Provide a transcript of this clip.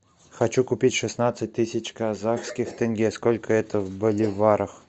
хочу купить шестнадцать тысяч казахских тенге сколько это в боливарах